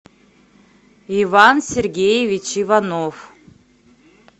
иван сергеевич иванов